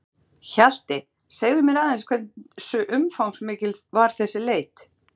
Lára: Hjalti, segðu mér aðeins hversu umfangsmikil var þessi leit?